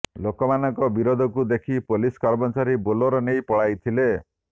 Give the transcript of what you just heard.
ଲୋକମାନଙ୍କ ବିରୋଧକୁ ଦେଖି ପୋଲିସ କର୍ମଚାରୀ ବୋଲେରୋ ନେଇ ପଳାଇଥିଲେ